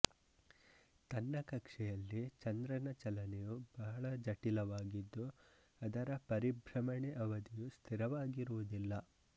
ತನ್ನ ಕಕ್ಷೆಯಲ್ಲಿ ಚಂದ್ರನ ಚಲನೆಯು ಬಹಳ ಜಟಿಲವಾಗಿದ್ದು ಅದರ ಪರಿಭ್ರಮಣೆ ಅವಧಿಯು ಸ್ಥಿರವಾಗಿರುವುದಿಲ್ಲ